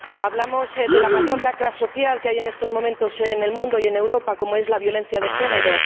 Hablamos de la mayor lacra social que hay en estos momentos en el mundo y en Europa, como es la violencia de género.